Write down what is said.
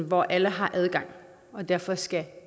hvor alle har adgang og derfor skal